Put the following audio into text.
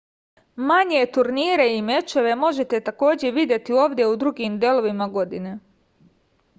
manje turnire i mečeve možete takođe videti ovde u drugim delovima godine